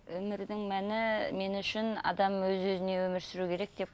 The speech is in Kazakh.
өмірдің мәні мен үшін адам өз өзіне өмір сүру керек деп